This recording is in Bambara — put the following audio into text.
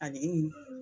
A bɛ